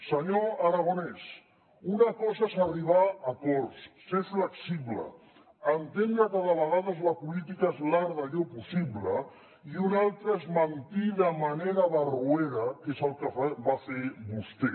senyor aragonès una cosa és arribar a acords ser flexible entendre que de vegades la política és l’art d’allò possible i una altra és mentir de manera barroera que és el que va fer vostè